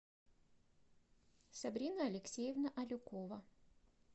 сабрина алексеевна алюкова